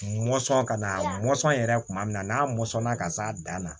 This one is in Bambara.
Mɔnsɔn ka na mɔnsɔn yɛrɛ kuma min na n'a mɔnsɔnna ka s'a dan na